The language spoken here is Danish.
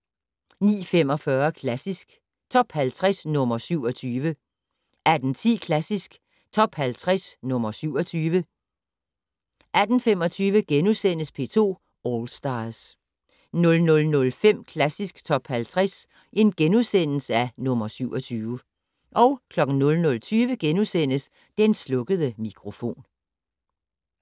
09:45: Klassisk Top 50 - nr. 27 18:10: Klassisk Top 50 - nr. 27 18:25: P2 All Stars * 00:05: Klassisk Top 50 - nr. 27 * 00:20: Den slukkede mikrofon *